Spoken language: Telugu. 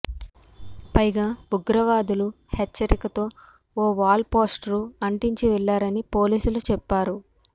పైగా ఉగ్రవాదులు హెచ్చరికతో ఓ వాల్ పోస్టర్ను అంటించి వెళ్ళారని పోలీసులు చెప్పారు